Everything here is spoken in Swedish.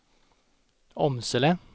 Åmsele